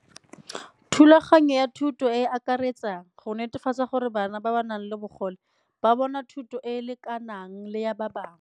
Thulaganyo ya thuto e e akaretsang go netefatsa gore bana ba ba nang le bogole ba bona thuto e e lekanang le ya ba bangwe.